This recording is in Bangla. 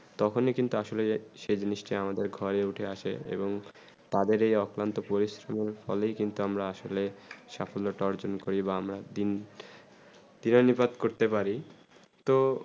তখন ই কিন্তু আসলে সেই জিনিস তা আমারদের ঘরে উঠে আসে এবং তাদের অপ্লান্ট পরিশ্রম ফলে কিন্তু আমরা আসলে সফল তা অর্জন করি বা আমরা দিন দিনানিপাত করতে পারি তো